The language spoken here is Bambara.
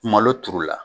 Malo turu la